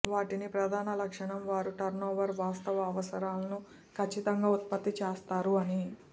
వాటిని ప్రధాన లక్షణం వారు టర్నోవర్ వాస్తవ అవసరాలను ఖచ్చితంగా ఉత్పత్తి చేస్తారు అని